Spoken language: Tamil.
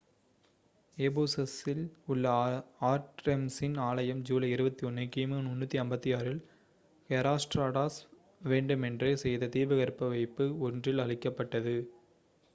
எஃபேசஸ்ஸில் உள்ள ஆர்ட்டெமிஸின் ஆலயம் ஜூலை 21 கி.மு. 356 இல் ஹெராஸ்ட்ராடஸ் வேண்டுமென்றே செய்த தீப்பற்றவைப்பு ஒன்றில் அழிக்கப்பட்டது